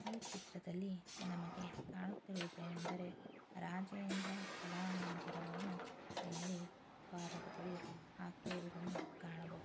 ಈ ಚಿತ್ರದಲ್ಲಿ ನಮ್ಮಗೆ ಕಾಣುತಿರುವುದು ಏನೆಂದರೆ ರಾಜೇಂದ್ರ ಕಲಾಮಂದಿರವನ್ನು ಇಲ್ಲಿ ದ್ವಾರದ ಬಳಿ ಹಾಕಿರೋದನ್ನು ಕಾಣಬಹು--